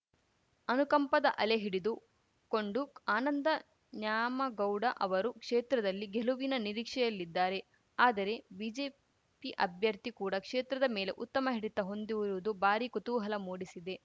ಅನುಕಂಪದ ಅಲೆ ಹಿಡಿದು ಕೊಂಡು ಆನಂದ ನ್ಯಾಮಗೌಡ ಅವರು ಕ್ಷೇತ್ರದಲ್ಲಿ ಗೆಲುವಿನ ನಿರೀಕ್ಷೆಯಲ್ಲಿದ್ದಾರೆ ಆದರೆ ಬಿಜೆಪಿ ಅಭ್ಯರ್ಥಿ ಕೂಡ ಕ್ಷೇತ್ರದ ಮೇಲೆ ಉತ್ತಮ ಹಿಡಿತ ಹೊಂದಿರುವುದು ಭಾರೀ ಕುತೂಹಲ ಮೂಡಿಸಿದೆ